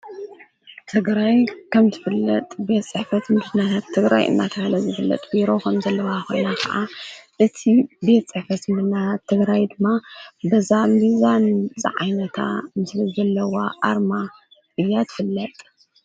1234555 qwerrt qwerrt qwerrt I am wert qwerrt qwerrt qwerrt qwerrt